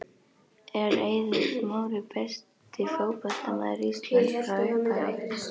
Er Eiður Smári besti fótboltamaður Íslands frá upphafi?